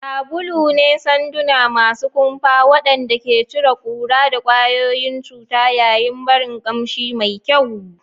Sabulu ne sanduna masu kumfa waɗanda ke cire ƙura da ƙwayoyin cuta yayin barin ƙamshi mai kyau.